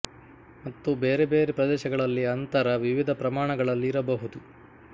ಮತ್ತು ಬೇರೆ ಬೇರೆ ಪ್ರದೇಶಗಳಲ್ಲಿ ಅಂತರ ವಿವಿಧ ಪ್ರಮಾಣಗಳಲ್ಲಿ ಇರಬಹುದು